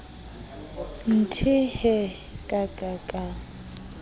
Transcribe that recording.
nthe hee ka ka ka